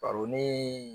Baro ni